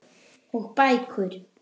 Og bækur.